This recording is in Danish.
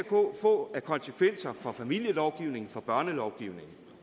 få af konsekvenser for familielovgivningen for børnelovgivningen